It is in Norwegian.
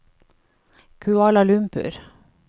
Kuala Lumpur